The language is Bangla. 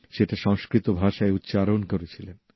সেটা সংস্কৃত ভাষায় উচ্চারণ করেছিলেন